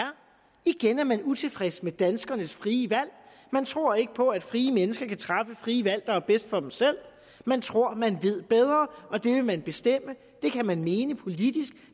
igen er man utilfreds med danskernes frie valg man tror ikke på at frie mennesker kan træffe frie valg der er bedst for dem selv man tror man ved bedre og det vil man bestemme det kan man mene politisk